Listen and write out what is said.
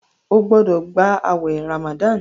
o gbódò gbà awé ramadan!